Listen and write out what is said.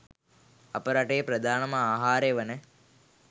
අප රටේ ප්‍රධානම ආහාරය වන